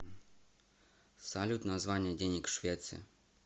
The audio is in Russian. салют название денег в швеции